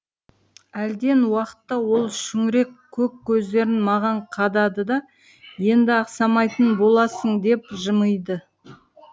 әлден уақытта ол шүңірек көк көздерін маған қадады да енді ақсамайтын боласың деп жымиды